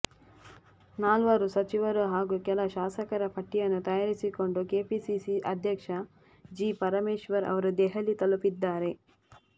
ನಾಲ್ವರು ಸಚಿವರು ಹಾಗೂ ಕೆಲ ಶಾಸಕರ ಪಟ್ಟಿಯನ್ನು ತಯಾರಿಸಿಕೊಂಡು ಕೆಪಿಸಿಸಿ ಅಧ್ಯಕ್ಷ ಜಿ ಪರಮೇಶ್ವರ್ ಅವರು ದೆಹಲಿ ತಲುಪಿದ್ದಾರೆ